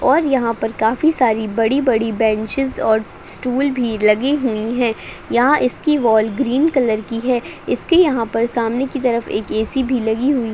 और यहाँ पर काफी सारी बड़ी-बड़ी बेन्चेस और स्टूल भी लगी हुईं हैं। यहाँ इसकी वाल ग्रीन कलर की है। इसके यहाँ पर सामने की तरफ एक ऐ.सी. भी लगी हुई --